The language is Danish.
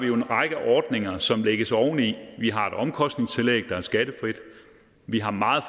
jo en række ordninger som lægges oveni vi har et omkostningstillæg der er skattefrit vi har meget